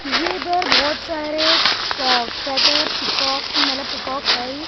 ये इधर बहुत सारे कोक कहते हैं पीकॉक मतलब पीकॉक सॉरी --